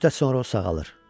Bir müddət sonra o sağalır.